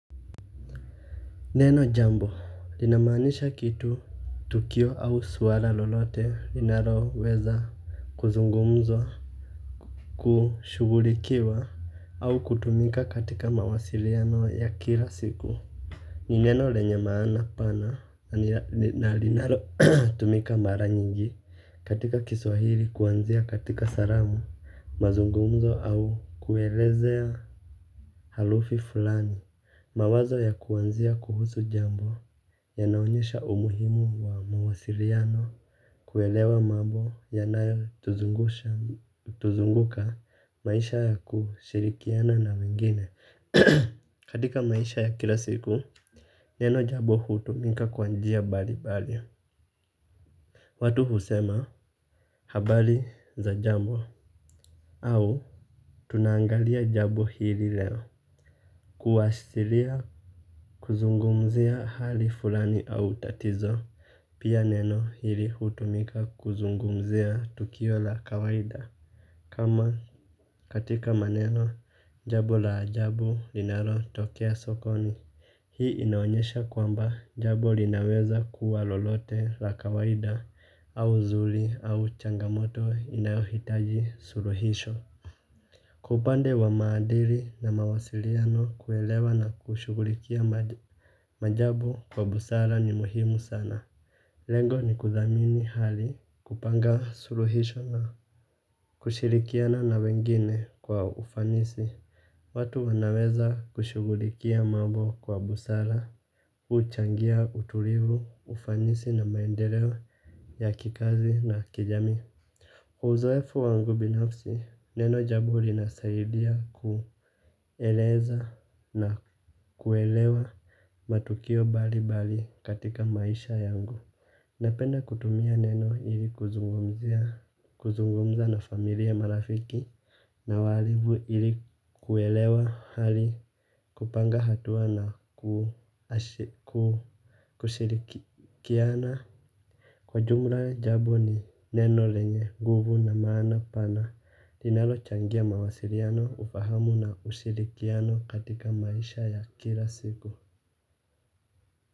Neno jambo linamaanisha kitu tukio au swala lolote linalo weza kuzungumzwa kushugulikiwa au kutumika katika mawasiliano ya kila siku. Ni neno lenye maana pana na linalo tumika mara nyingi katika kiswahili kuanzia katika salamu mazungumzo au kuelezea harufi fulani mawazo ya kuanzia kuhusu jambo ya naonyesha umuhimu wa mwasiliano kuelewa mambo yanayo tuzungusha tuzunguka maisha ya kushirikiana na mingine. Katika maisha ya kila siku neno jambo hutumika kwa njia mbali mbali. Watu husema habari za jambo au tunangalia jambo hili leo. Kuashiria kuzungumzia hali fulani au tatizo pia neno hili hutumika kuzungumzia tukio la kawaida. Kama katika maneno jambo la ajabu linalo tokea sokoni hii inaonyesha kwamba jambo linaweza kuwa lolote la kawaida au zuri au changamoto inayohitaji suluhisho. Kwa upande wa maadili na mawasiliano kuelewa na kushughulikia majabu wa busara ni muhimu sana. Lengo ni kuthamini hali kupanga suluhisho na kushirikiana na wengine kwa ufanisi. Watu wanaweza kushughulikia mambo kwa busara. Kuchangia utulivu, ufanisi na maendeleo ya kikazi na kijamii. Uzoefu wangu binafsi, neno jambo linasaidia kueleza na kuelewa matukio mbali mbali katika maisha yangu. Napenda kutumia neno ili kuzungumza na familia marafiki na walivu ili kuelewa hali kupanga hatua na kushirikiana. Kwa jumla jambo ni neno lenye nguvu na maana pana linalo changia mawasiliano ufahamu na ushirikiano katika maisha ya kila siku.